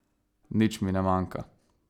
Nič mi ne manjka.